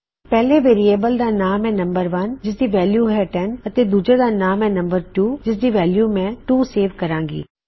ਪਹਿਲੇ ਵੇਅਰਿਏਬਲ ਦਾ ਨਾਮ ਹੈ ਨਮ1 ਜਿਸਦੀ ਵੈਲਯੂ ਹੈ 10 ਅਤੇ ਦੂਜੇ ਦਾ ਨਾਮ ਹੈ ਨਮ2 ਜਿਸਦੀ ਵੈਲਯੂ ਮੈਂ 2 ਸੇਵ ਕਰਾਂ ਗੀ